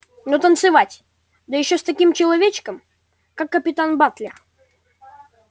но танцевать да ещё с таким человечком как капитан батлер